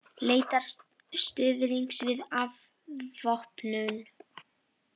Leitar stuðnings við afvopnun